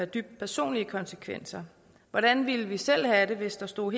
dybe personlige konsekvenser hvordan ville vi selv have det hvis der stod